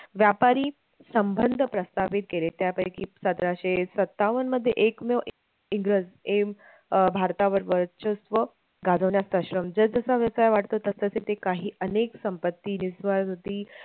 व्यापारी संबंध प्रस्थपित केले त्यापैकी प्रस्थापित केले त्यापैकी सतराशे सत्तावन्न मध्ये एकमेव इंग्रज एम अं भारतावर वर्चस्व गाजवण्यास सक्षम जसजसा व्यवसाय वाढतो तसतसे ते काही अनेक संपत्ती